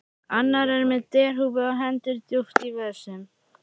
Annar er með derhúfu og hendur djúpt í vösum.